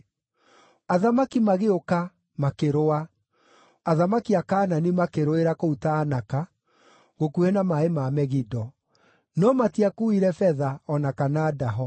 “Athamaki magĩũka, makĩrũa; athamaki a Kaanani makĩrũĩra kũu Taanaka, gũkuhĩ na maaĩ ma Megido, no matiakuuire betha, o na kana ndaho.